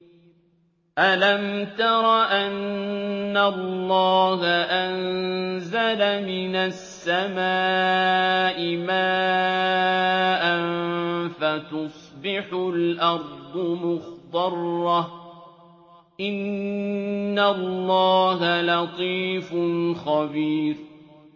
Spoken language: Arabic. أَلَمْ تَرَ أَنَّ اللَّهَ أَنزَلَ مِنَ السَّمَاءِ مَاءً فَتُصْبِحُ الْأَرْضُ مُخْضَرَّةً ۗ إِنَّ اللَّهَ لَطِيفٌ خَبِيرٌ